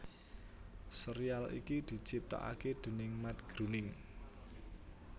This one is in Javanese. Sérial iki diciptakaké déning Matt Groening